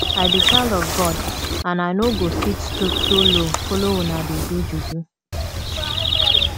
i be child of god and i no go fit stoop so low follow una dey do juju